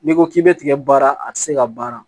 N'i ko k'i bɛ tigɛ baara a tɛ se ka baara